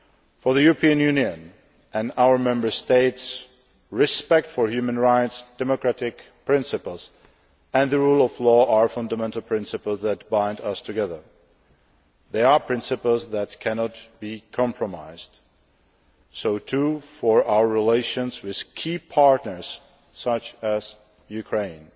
For the European Union and our Member States, respect for human rights, democratic principles and the rule of law are fundamental principles that bind us together. They are principles that cannot be compromised, so too for our relations with key partners such as Ukraine.